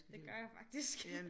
Det gør jeg faktisk